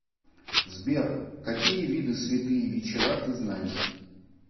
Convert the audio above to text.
сбер какие виды святые вечера ты знаешь